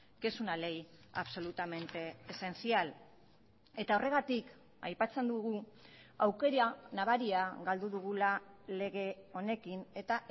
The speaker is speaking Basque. que es una ley absolutamente esencial eta horregatik aipatzen dugu aukera nabaria galdu dugula lege honekin eta